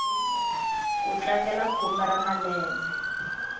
ku tlangela khume ra malembe